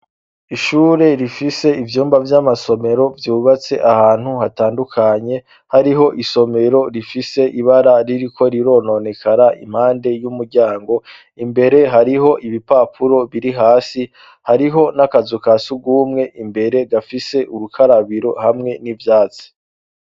Ishure rifise ivyumba vy'amasomero vyubatse ahantu hatandukanye hariho isomero rifise ibara ririko rirononekara impande y'umuryango imbere hariho ibipapuro biri hasi hariho n'akazu ka si ugumwe imbere gafise urukarabiro hamwe n'ivyatsi.